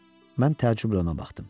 Mən təəccüblə ona baxdım.